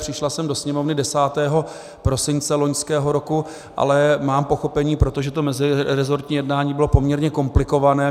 Přišla sem do Sněmovny 10. prosince loňského roku, ale mám pochopení, protože to mezirezortní jednání bylo poměrně komplikované.